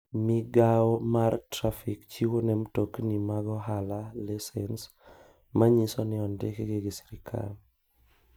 Migao mar trafik chiwo ne mtokni mag ohala lisens manyiso ni ondikgi gi sirkal.